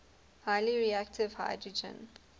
highly reactive hydrogen